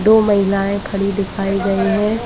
दो महिलाएं खड़ी दिखाई गयी है।